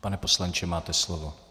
Pane poslanče, máte slovo.